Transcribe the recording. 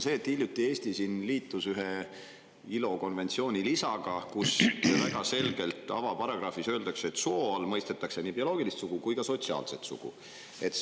Hiljuti liitus Eesti ühe ILO konventsiooni lisaga, mille avaparagrahvis öeldakse väga selgelt, et soo all mõistetakse nii bioloogilist sugu kui ka sotsiaalset sugu.